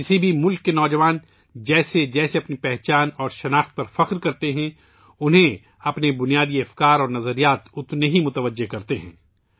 کسی بھی ملک کے نوجوان اپنی شناخت اور عظمت پر جتنا زیادہ فخر کرتے ہیں، ان کے اصل نظریات اور فلسفے انہیں اپنی طرف متوجہ کرتے ہیں